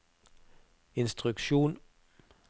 instruksjon